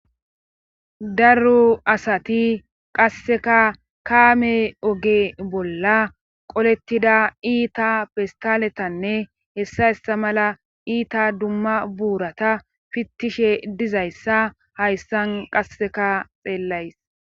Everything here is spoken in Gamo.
darro asati qasseka kaame oge bolla qolettida iita pistaletanne hessa ista mala iita dumma buurata fittishe dizayssa hayssan qasseka xeellays